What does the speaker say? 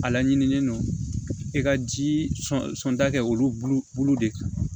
A laɲinilen don i ka ji sɔnda kɛ olu bolo de kan